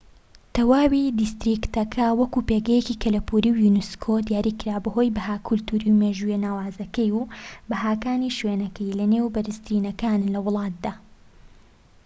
تەواوی دیستریکتەکە وەک پێگەیەکی کەلەپوری یونسكۆ دیاریکراوە بەهۆی بەها کەلتوری و مێژووییە ناوازەکەی و بەهاکانی شوێنەکەی لە نێو بەرزترینەکانن لە وڵاتدا